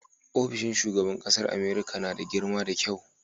ofishin shugaban ƙasar America nada girma da kyau